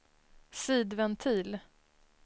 sidventil